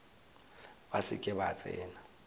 ba se ke ba tsena